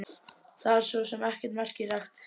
Það var svo sem ekkert merkilegt.